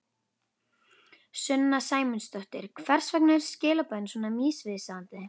Sunna Sæmundsdóttir: Hvers vegna eru skilaboðin svona misvísandi?